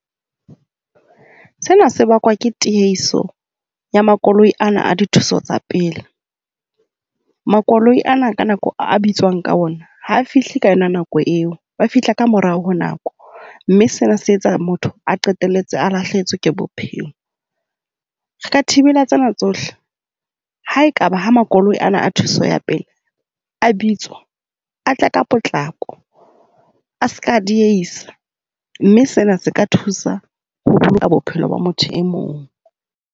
Sena se bakwa ke tiehiso ya makoloi ana a dithuso tsa pele. Makoloi ana ka nako eo a bitswang ka ona ha fihle ka yona nako eo, ba fihla ka morao ho nako. Mme sena se etsa motho a qetelletse a lahlehetswe ke bophelo. Re ka thibela tsena tsohle ha ekaba ha makoloi ana a thuso ya pele a bitswa, a tle ka potlako. A seka diehisa. Mme sena se ka thusa ho boloka bophelo ba motho e mong.